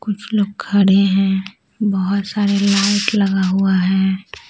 कुछ लोग खड़े हैं बहुत सारे लाइट लगा हुआ है।